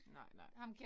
Nej nej